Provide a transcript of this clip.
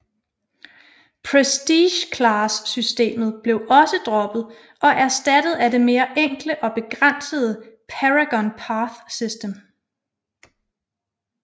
Prestige Class systemet blev også droppet og erstattet af det mere enkle og begrænsede Paragon Path system